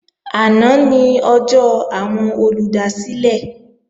Àná ni ọjọ́ àwọn olùdásílẹ̀